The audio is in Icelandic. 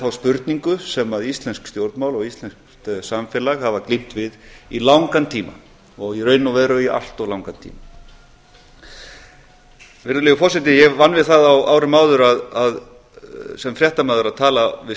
þá spurningu sem íslensk stjórnmál og íslenskt samfélag hafa glímt við í langan tíma og í raun og veru í allt of langan tíma virðulegi forseti ég vann við það á árum áður sem fréttamaður að tala við